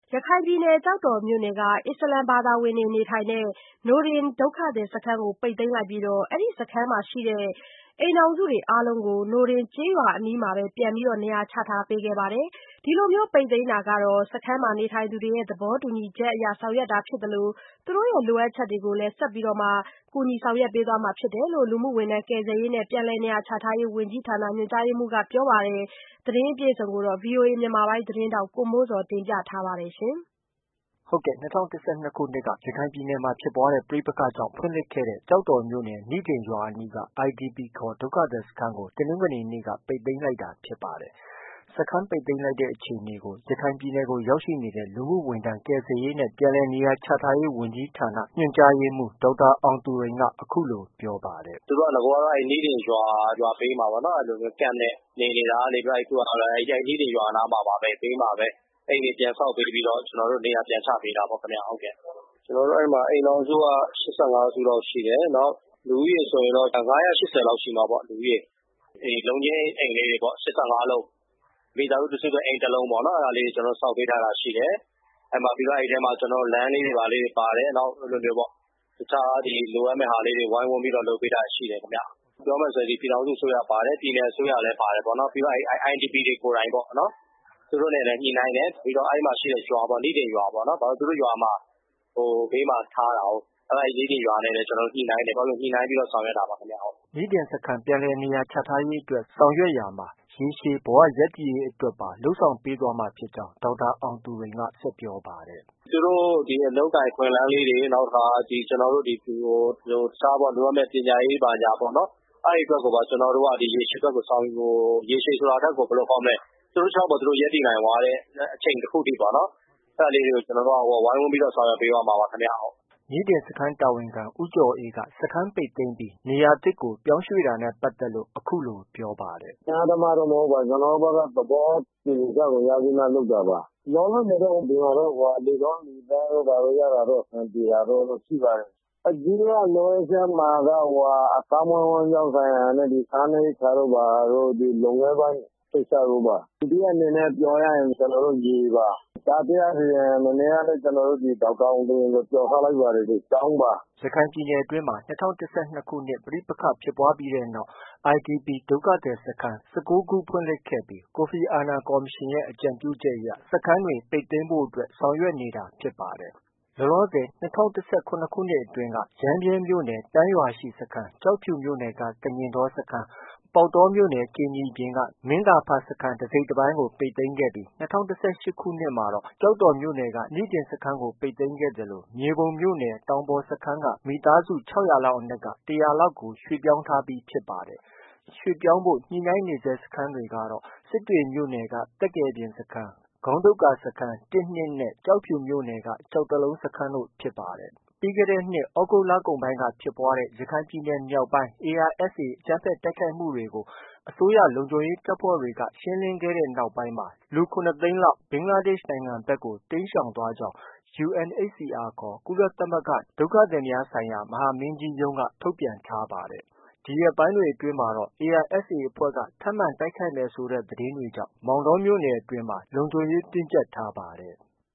ရခိုင်ပြည်နယ် ကျောက်တော်မြို့နယ်က အစ္စလာမ်ဘာသာဝင်တွေ နေထိုင်တဲ့ နိဒင်ဒုက္ခသည်စခန်းကို ပိတ်သိမ်း လိုက်ပြီး စခန်းမှာ ရှိတဲ့ အိမ်ထောင်စုအားလုံးကိုနိဒင်ကျေးရွာအနီးမှာ ပြန်လည်နေရာချထားပေးခဲ့ပါတယ်။ ဒီလိုပိတ်သိမ်းတာဟာ စခန်းမှာနေထိုင်သူတွေရဲ့ သဘောတူညီချက်အရဆောင်ရွက်တာဖြစ်သလို သူတို့ရဲ့ လိုအပ်ချက်တွေကိုလည်း ဆက်လက်ဆောင်ရွက်ပေးသွားမှာဖြစ်တယ်လို့ လူမှုဝန်ထမ်း၊ ကယ်ဆယ်ရေးနဲ့ ပြန်လည်နေရာချထားရေးဝန်ကြီးဌာနက တာဝန်ရှိသူ တဦးက ပြောပါတယ်။ ဒီသတင်းကို ဗွီအိုအေ မြန်မာပိုင်းရဲ့သတင်းထောက် ကိုမိုးဇော်က တင်ပြထားပါတယ်။ ၂၀၁၂ခုနှစ်က ရခိုင်ပြည်နယ်မှာ ဖြစ်ပွားတဲ့ ပဋိပက္ခကြောင့် ဖွင့်လှစ်ခဲ့တဲ့ ကျောက်တော်မြို့နယ် နိဒင် ရွာအနီးက IDP ခေါ် ဒုက္ခသည်စခန်းကို တနင်္ဂနွေနေ့က ပိတ်သိမ်းလိုက်တာဖြစ်ပါတယ်။ စခန်းပိတ်သိမ်းလိုက်တဲ့အခြေအနေကို ရခိုင်ပြည်နယ်ကို ရောက်ရှိနေတဲ့ လူမှုဝန်ထမ်း၊ ကယ်ဆယ်ရေးနဲ့ ပြန်လည်နေရာချထားရေးဝန်ကြီးဌာန ညွှန်ကြားရေးမှုး ဒေါက်တာ အောင်သူရိန်က အခုလို ပြောပါတယ်။ “ သူတို့က နဂိုရ်က နိဒင်ရွာဘေးမှာ camp နဲ့ နေနေတာကနေ အခုက နိဒင်ရွာနားမှာပါပဲ အိမ်တွေပြန်ဆောက်ပေးပြီးတော့ နေရာပြန်ချပေးတာပေါ့ခင်ဗျ။ အဲဒီမှာ အိမ်ထောင်စုက ၈၅စုလောက်ရှိတယ်။ လူဦးရေဆိုရင်တော့ ၅၈၀လောက်ရှိမှာပေါ့။ လူဦးရေ။ လုံးချင်းအိမ်လေးတွေ ၈၅လုံး၊ မိသားစုတစုအတွက် တလုံး ကျနော်တို့ အဲဒီမှာ လမ်းလေးတွေ ပါတယ်။ တခြားလိုအပ်မယ်ဟာတွေ ဝိုင်းဝန်းပြီး လုပ်ပေးထားတာရှိတယ်။ ပြောမယ်ဆိုရင် ပြည်ထောင်စုအစိုးရပါတယ်၊ ပြည်နယ်အစိုးရလည်း ပါတယ်၊ ပြီးတော့ IDP တွေကိုယ်တိုင်ပေါ့၊ သူတို့နဲ့လည်း ညှိနှိုင်းတယ်၊ ပြီးတော့ နိဒင်ရွာပေါ့ ၊ ဘာလို့လည်း ဆိုတော့ သူတို့ရွာဘေးမှာ ထားတာကိုး။ နိဒင်ရွာနဲ့လည်း ညှိနှိုင်တယ် အဲလို ညှိနှိုင်းပြီးတော့ ဆောင်ရွက်တာပါ။ ” နိဒင်ပြန်လည်နေရာချထားရေးအတွက်ဆောင်ရွက်ရာမှာ ရေရှည်ဘဝရပ်တည်ရေးအတွက်ပါ လုပ်ဆောင် ပေးသွားမှာ ဖြစ်ကြောင်း ဒေါက်တာအောင်သူရိန် ဆက်ပြောပါတယ်။ “ သူတို့ အလုပ်အကိုင်အခွင့်အလမ်းလေးတွေ၊ နောက်တခါ တခြားလိုအပ်မယ့် ပညာရေးဘာညာပေါ့ အဲဒါတွေကိုပါ ကျနော်တို့ ရေရှည်အတွက်ကို ဆောင်ရွက်ဖို့၊ ရေရှည်ဆိုတာထက်ကို ဘယ်လိုခေါ်မလဲ သူတို့ ခြေထောက်ပေါ် သူတို့ ရပ်တည်နိုင်သွားတဲ့အချိန်ထိအောင် ကျနော်တို့က ဝိုင်းဝန်းပြီးတော့ ဆောင်ရွက် ပေးသွားမှာပါ။ ” နိဒင်စခန်းတာဝန်ခံ ဦးကျော်အေးက စခန်းပိတ်သိမ်းပြီး နေရာသစ်ကို ရွှေ့ပြောင်းတာနဲ့ပတ်သက်လို့ အခုလို ပြောပါတယ်။ “ အတင်းအဓမ္မတော့ မဟုတ်ပါ။ ကျနော်တို့ သဘောတူညီချက်ရပြီးမှ လုပ်တာပါ။ လောလောဆည်တော့ ဒီမှာ တော့ လေကောင်းလေသန့်တို့ရတာတော့ အဆင်ပြေပါတယ်။ အဓိက လိုအပ်ချက်မှာ အသက်မွေးဝမ်းကြောင်း ဆိုင်ရာနဲ့ စားနပ်ရိက္ခာတို့ ဘာတို့ လုပ်ငန်းပိုင်းကိစ္စတို့ပါ။ ဒုတိယအနေနဲ့ ပြောရရင် ရေပါ။ တတိယအနေနဲ့ ပြောရရင် မနေ့ကလည်း ဒေါက်တာ အောင်သူရိန်ကို ကျနော်တို့ ပြောထားလိုက်ပါတယ် ကျောင်းပါ။ ” ရခိုင်ပြည်နယ်အတွင်းမှာ ၂၀၁၂ခုနှစ်ပဋိပက္ခဖြစ်ပွားပြီးတဲ့နောက်မှာ IDP ဒုက္ခသည်စခန်း ၁၉ခုဖွင့်လှစ်ခဲ့ပြီး ကိုဖီအာနန်ကော်မရှင်ရဲ့ အကြံပြုချက်အရ စခန်းတွေ ပိတ်သိမ်းဖို့အတွက် ဆောင်ရွက်နေတာဖြစ်ပါတယ်။ လောလောဆည်မှာ ၂၀၁၇ခုနှစ်အတွင်းက ရမ်းဗြဲမြို့နယ် တန်းရွာရှိစခန်း၊ ကျောက်ဖြူမြို့နယ်က ကညင်တော၊ ပေါက်တော် ကြိမ်နီပြင်က မင်းသာဖစခန်းတစိတ်တပိုင်းကို ပိတ်သိမ်းခဲ့ပြီး ၂၀၁၈မှာတော့ ကျောက်တော်မြို့နယ် နိဒင်နဲ့ မြေပုံမြို့နယ် တောင်ပေါ်စခန်းက မိသားစု ၆၀၀လောက်အနက်က ၁၀၀ကို ရွှေ့ပြောင်းထားပြီးဖြစ်ပါတယ်။ ရွှေ့ပြောင်းဖို့ ညှိနှိုင်းနေဆဲ စခန်းတွေကတော့ စစ်တွေမြို့နယ်က သက္ကယ်ပြင်စခန်း၊ ခေါင်းဒုတ်ကာစခန်း ၁နဲ့ ၂၊ ကျောက်ဖြူမြို့နယ်က ကျောက်တလုံးတို့ ဖြစ်ပါတယ်။ ပြီးခဲ့တဲ့နှစ်သြဂုတ်လကုန်ပိုင်းက ဖြစ်ပွားတဲ့ ရခိုင်ပြည်နယ်မြောက်ပိုင်း ARSAအကြမ်းဖက်တိုက်ခိုက်မှုတွေကို အစိုးရလုံခြုံရေးတပ်ဖွဲ့တွေက ရှင်းလင်းခဲ့တဲ့နောက်ပိုင်းမှာတော့ လူ ၇သိန်းနီးပါးလောက် ဘင်္ဂလားဒေ့ရ်ှ နိုင်ငံဖက်ကို တိမ်းရှောင်သွားကြောင်း UNHCR ခေါ် ကုလသမဂ္ဂ ဒုက္ခသည်များဆိုင်ရာ မဟာမင်းကြီးရုံးက ထုတ်ပြန်ထားပါတယ်။ ဒီရက်ပိုင်းတွေအတွင်းမှာတော့ ARSA အဖွဲ့ က ထပ်မံတိုက်ခိုက်မယ်ဆိုတဲ့ သတင်းတွေကြောင့် မောင်တောမြို့နယ်အတွင်းမှာ လုံခြုံရေးတင်းကျပ်ထားပါတယ်။